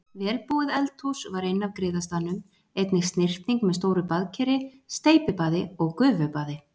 Vel búið eldhús var inn af griðastaðnum, einnig snyrting með stóru baðkeri, steypibaði og gufubaði.